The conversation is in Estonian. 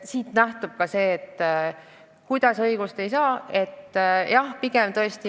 Siit nähtub ka see, kuidas prokuratuur ja politsei ei lähtu õigusest.